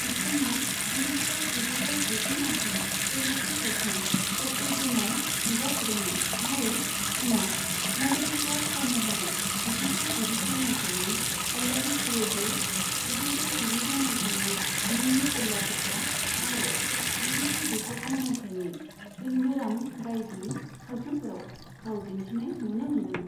बिथांङा गिबिखेब जिगुजौ गुजि माइथायाव तेलुगु सावथुन कर्तव्यमआव नुजाथिदोंमोन, आरो उनाव मदद होग्रा फाव महरै जिगुजौ गुजिथाम माइथायनि आल्लरी प्रियुडु, जिगुजौ गुजिद' माइथायनि निन्ने पेल्लादुता आरो जिगुजौ गुजिस्नि माइथायनि सिन्धुरम बायदि सावथुनफोराव फाव दिन्थिनाय नुनो मोनदोंमोन।